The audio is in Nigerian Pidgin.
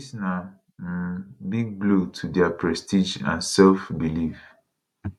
dis na um big blow to dia prestige and self belief